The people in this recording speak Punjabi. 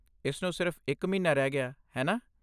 ਇਸਨੂੰ ਸਿਰਫ਼ ਇੱਕ ਮਹੀਨਾ ਰਹਿ ਗਿਆ, ਹੈ ਨਾ?